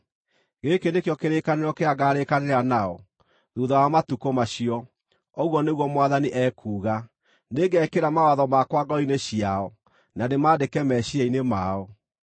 “Gĩkĩ nĩkĩo kĩrĩkanĩro kĩrĩa ngaarĩkanĩra nao thuutha wa matukũ macio, ũguo nĩguo Mwathani ekuuga. Nĩngekĩra mawatho makwa ngoro-inĩ ciao, na ndĩmaandĩke meciiria-inĩ mao.”